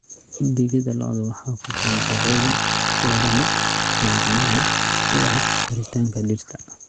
Digada lo'da waxaa ku jira nafaqooyin lagama maarmaan u ah koritaanka dhirta.